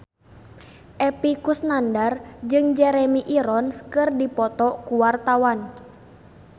Epy Kusnandar jeung Jeremy Irons keur dipoto ku wartawan